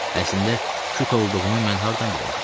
Əslində küt olduğunu mən hardan biləydim?